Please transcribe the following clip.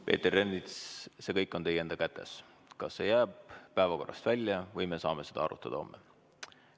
Peeter Ernits, see kõik on teie enda kätes – kas see jääb päevakorrast välja või me saame seda arutada homme.